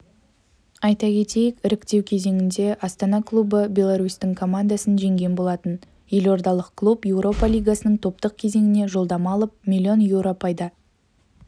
айта кетейік іріктеу кезеңінде астана клубы беларусьтың командасын жеңген болатын елордалық клуб еуропа лигасының топтық кезеңіне жолдама алып млн еуро пайда